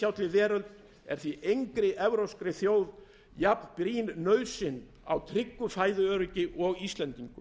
er því engri evrópskri þjóð jafnbrýn nauðsyn á tryggu fæðuöryggi og íslendingum